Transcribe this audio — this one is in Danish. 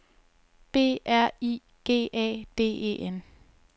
B R I G A D E N